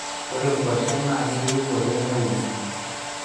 Ore nkwashen naa keyieu ake neuini